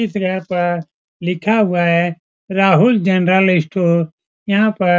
इस जगह पर लिखा हुआ है राहुल जेनेरल स्टोर यहाँ पर --